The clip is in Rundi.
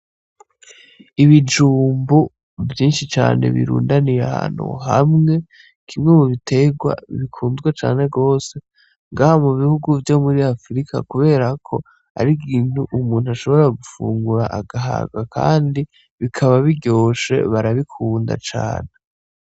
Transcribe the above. Ibijumbu vyinshi cane birundaniye ahantu hamwe kimwe mubitegwa bikunzwe cane gwose ngaha mubihugu vyomuri Afurika kuberako arikintu umuntu ashobora gufungura agahaga Kandi bikaba biryoshe barabikunda cane.